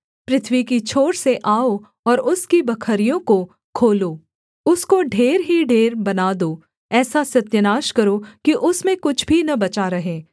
पृथ्वी की छोर से आओ और उसकी बखरियों को खोलो उसको ढेर ही ढेर बना दो ऐसा सत्यानाश करो कि उसमें कुछ भी न बचा रहें